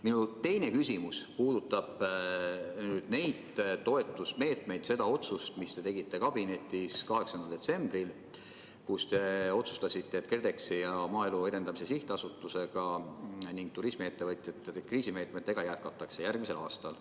Minu teine küsimus puudutab neid toetusmeetmeid, seda otsust, mille te tegite kabinetis 8. detsembril, kui te otsustasite, et KredExi ja Maaelu Edendamise Sihtasutusega ning turismiettevõtjate kriisimeetmetega jätkatakse järgmisel aastal.